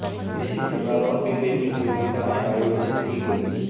इसी प्रकार और भी कई प्रतियोगिताएं आयोजित की गईं